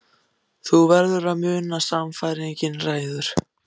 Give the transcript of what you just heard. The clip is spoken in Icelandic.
Þú verður að muna að sannfæringin ræður.